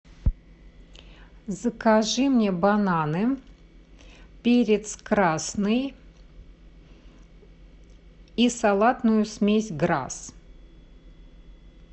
закажи мне бананы перец красный и салатную смесь грасс